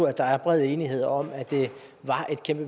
at der er bred enighed om at det